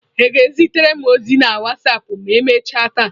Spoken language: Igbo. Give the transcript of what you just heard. Ị ga-ezitere m ozi na wasapụ ma emechaa taa?